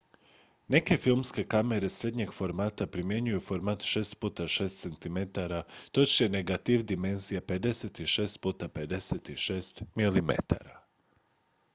neke filmske kamere srednjeg formata primjenjuju format 6 x 6 cm točnije negativ dimenzija 56 x 56 mm